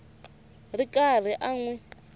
ri karhi a n wi